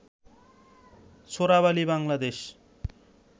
Chorabali Bangladesh